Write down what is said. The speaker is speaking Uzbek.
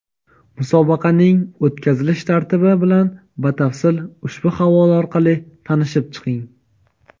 Musobaqaning o‘tkazilish tartibi bilan batafsil ushbu havola orqali tanishib chiqing!.